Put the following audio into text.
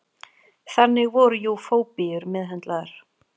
Þannig voru jú fóbíur meðhöndlaðar.